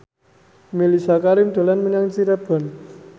Mellisa Karim dolan menyang Cirebon